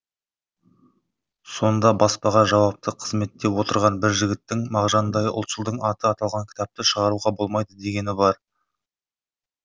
сонда баспаға жауапты қызметте отырған бір жігіттің мағжандай ұлтшылдың аты аталған кітапты шығаруға болмайды дегені бар